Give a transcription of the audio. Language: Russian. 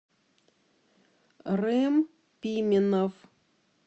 рем пименов